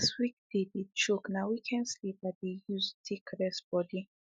as weekday dey choke na weekend sleep i dey use take reset body